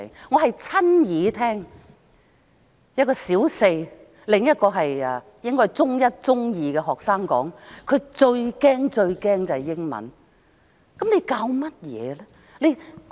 我曾親耳聽到一名小四學生、另一個應是中一、中二的學生說，他們最最害怕英文。